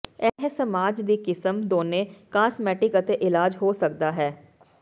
ਇਹ ਮਸਾਜ ਦੀ ਕਿਸਮ ਦੋਨੋ ਕਾਸਮੈਟਿਕ ਅਤੇ ਇਲਾਜ ਹੋ ਸਕਦਾ ਹੈ